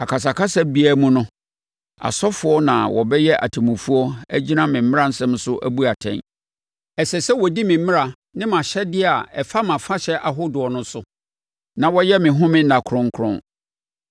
“ ‘Akasa akasa biara mu no, asɔfoɔ na wɔbɛyɛ atemmufoɔ agyina me mmaransɛm so abu atɛn. Ɛsɛ sɛ wɔdi me mmara ne mʼahyɛdeɛ a ɛfa mʼafahyɛ ahodoɔ no so, na wɔyɛ me home nna kronkron.